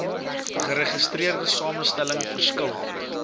geregistreerde samestelling verskil